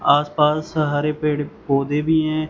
आसपास हरे पेड़-पौधे भी हैं।